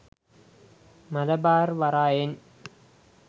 Malabar වරායෙන්